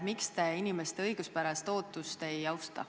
Miks te inimeste õiguspärast ootust ei austa.